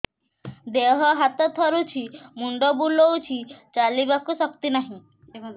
ଦେହ ହାତ ଥରୁଛି ମୁଣ୍ଡ ବୁଲଉଛି ଚାଲିବାକୁ ଶକ୍ତି ନାହିଁ